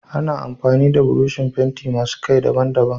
Ana amfani da burushin fenti masu Kai daban daban